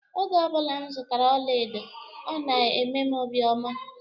Oge obula m zụtara ọla edo ọ na emem obi ọma.